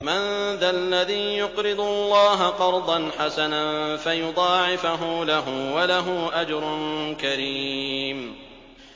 مَّن ذَا الَّذِي يُقْرِضُ اللَّهَ قَرْضًا حَسَنًا فَيُضَاعِفَهُ لَهُ وَلَهُ أَجْرٌ كَرِيمٌ